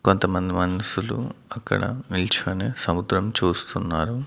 కొంతమంది మన్షులు అక్కడ నిల్చొని సముద్రం చూస్తున్నారు.